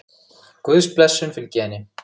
Guðs blessun fylgi henni.